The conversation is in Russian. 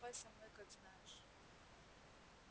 поступай со мной как знаешь